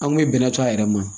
An kun ye bɛnɛ to a yɛrɛ ma